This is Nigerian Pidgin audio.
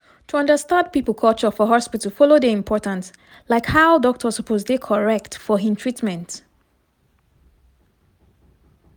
to understand people culture for hospital follow dey important like how doctor suppose dey correct for hin treatment.